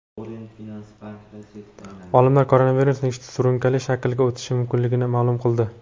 Olimlar koronavirusning surunkali shaklga o‘tishi mumkinligini ma’lum qildi.